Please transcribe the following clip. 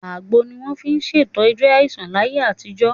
Àgbo ni wọ́n fi ń ṣètọ́jú aláìsàn láyé àtijọ́.